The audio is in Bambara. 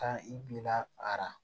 Ka i bila ara